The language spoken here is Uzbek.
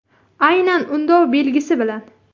Aynan undov belgisi bilan.